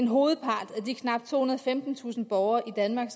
hovedparten af de knap tohundrede og femtentusind borgere i danmark